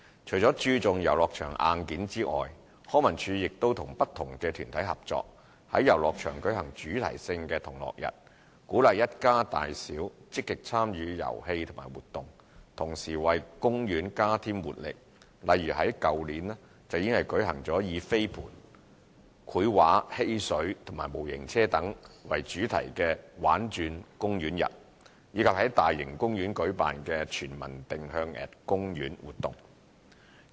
除了注重遊樂場硬件外，康文署亦與不同團體合作，在遊樂場舉行主題性的同樂日，鼓勵一家大小積極參與遊戲和活動，同時為公園加添活力，例如去年舉行以飛盤、繪畫、嬉水和模型車等為主題的"玩轉公園日"，以及在大型公園舉辦的"全民定向＠公園"活動。